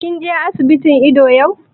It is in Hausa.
Kin je asibitin ido yau?